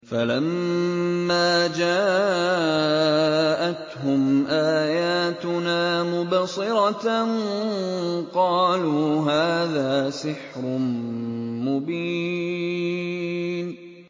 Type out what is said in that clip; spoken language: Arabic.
فَلَمَّا جَاءَتْهُمْ آيَاتُنَا مُبْصِرَةً قَالُوا هَٰذَا سِحْرٌ مُّبِينٌ